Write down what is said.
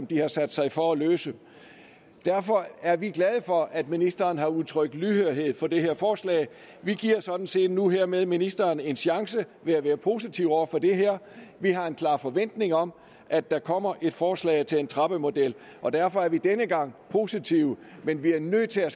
de har sat sig for at løse derfor er vi glade for at ministeren har udtrykt lydhørhed over for det her forslag vi giver sådan set nu hermed ministeren en chance ved at være positive over for det her vi har en klar forventning om at der kommer et forslag til en trappemodel og derfor er vi denne gang positive men vi er nødt til at